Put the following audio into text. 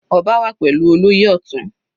Ọba wà pẹ̀lú olóyè Ọtun.